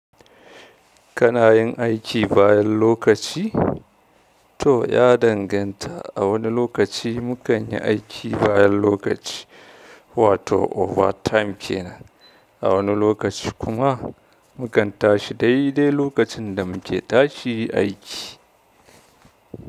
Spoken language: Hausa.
Kana yin aiki bayan lokaci? To ya danganta, a wani lokaci mu kan yi aiki bayan lokaci, wato overtime kenan. A wani lokaci kuma mu kan tashi dai dai lokacin da muke tashi aiki.